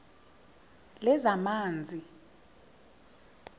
lezamanzi